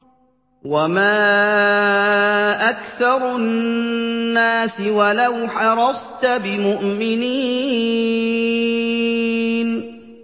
وَمَا أَكْثَرُ النَّاسِ وَلَوْ حَرَصْتَ بِمُؤْمِنِينَ